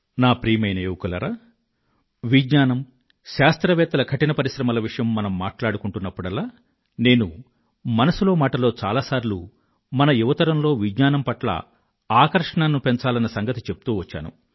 నా ప్రియమైన యువకులారా విజ్ఞానం శాస్త్రవేత్తల కఠిన పరిశ్రమల విషయం మనం మాట్లాడుకుంటున్నప్పుడల్లా నేను మన్ కీ బాత్ మనసులో మాటలో చాలా సార్లు మన యువతరంలో విజ్ఞానం పట్ల ఆకర్షణను పెంచాలన్న సంగతి చెప్తూ వచ్చాను